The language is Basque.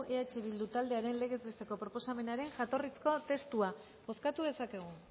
eh bildu taldearen legez besteko proposamenaren jatorrizko testua bozkatu dezakegu